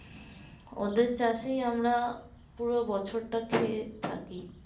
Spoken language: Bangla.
ওদের চাষেই আমরা পুরো বছর টা খেয়ে থাকি